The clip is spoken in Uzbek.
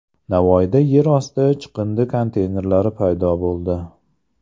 Navoiyda yer osti chiqindi konteynerlari paydo bo‘ldi.